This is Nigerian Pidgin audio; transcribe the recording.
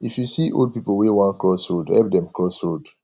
if you see old pipo wey won cross road help dem cross road